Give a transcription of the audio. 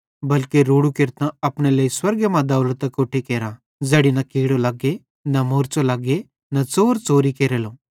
बल्के रोड़ू केरतां अपने लेइ स्वर्गे मां दौलत अकोट्ठी केरा ज़ैड़ी न कीड़ो लग्गे ते न मोरच़ो लग्गे ते न च़ोर च़ोरी केरेले